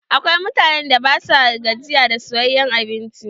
Akwai mutanen da ba sua gajiya da soyayen abinci.